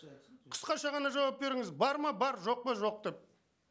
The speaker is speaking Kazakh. қысқаша ғана жауап беріңіз бар ма бар жоқ па жоқ деп